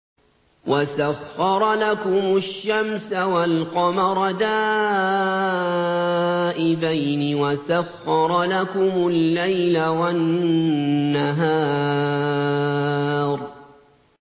وَسَخَّرَ لَكُمُ الشَّمْسَ وَالْقَمَرَ دَائِبَيْنِ ۖ وَسَخَّرَ لَكُمُ اللَّيْلَ وَالنَّهَارَ